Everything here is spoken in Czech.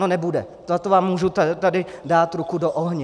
No nebude, na to vám můžu tady dát ruku do ohně.